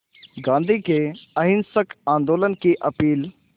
गांधी के अहिंसक आंदोलन की अपील